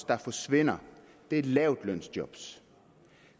der forsvinder er lavtlønsjob